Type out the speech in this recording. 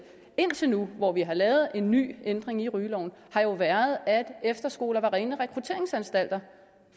indtil nu hvor vi har lavet en ny ændring i rygeloven har været at efterskoler var rene rekrutteringsanstalter